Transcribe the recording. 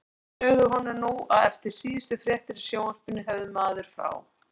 Þeir sögðu honum nú að eftir síðustu fréttir í sjónvarpinu hefði maður frá